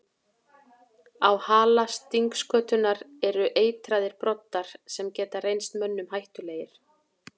Á hala stingskötunnar eru eitraðir broddar sem geta reynst mönnum hættulegir.